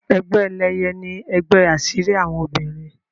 Egbe Eléye ní ègbé asiri àwọn obìrin.